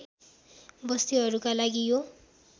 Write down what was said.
बस्तीहरूका लागि यो